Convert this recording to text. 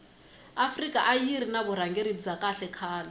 afrika ayiri ni vurhangeri bya kahle khale